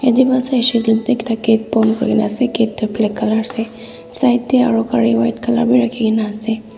bon kori kena ase kat tu black colour ase side teh aru gari white colour bhi rakhi kine ase.